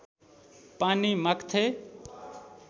पानी माग्थे